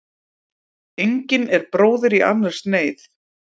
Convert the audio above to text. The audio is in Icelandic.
Engin er bróðir í annars neyð.